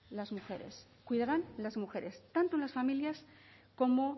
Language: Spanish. las mujeres cuidarán las mujeres tanto en las familias como